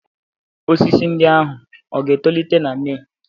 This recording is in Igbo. Osisi ndị ahụ ga-etolite na Mee?